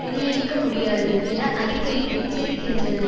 நிர்ணயிக்க முடியாது என அறிக்கையில் எச்சரிக்கின்றனர்